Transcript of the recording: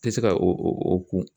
tɛ se ka o o kun